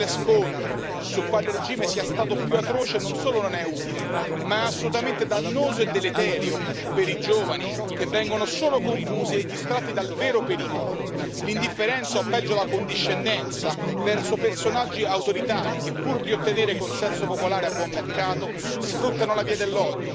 Perdersi in uno sterile scontro su quale regime sia stato più atroce non solo non è utile ma è assolutamente dannoso e deleterio per i giovani, che vengono solo confusi e distratti dal vero pericolo l'indifferenza o peggio la condiscendenza verso personaggi autoritari che, pur di ottenere consenso popolare a buon mercato,